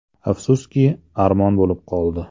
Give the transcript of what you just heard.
Afsuski, armon bo‘lib qoldi.